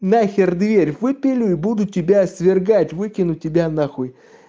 нахер дверь выпили и буду тебя свергать выкинуть тебя на хуй